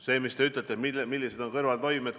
See, mida te küsite, et millised on kõrvaltoimed.